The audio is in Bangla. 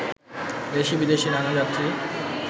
দেশি-বিদেশি নানান যাত্রী